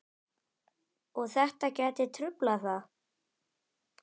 Og þetta gæti truflað það?